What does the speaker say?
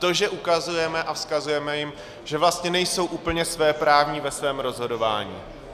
To, že ukazujeme a vzkazujeme jim, že vlastně nejsou úplně svéprávní ve svém rozhodování.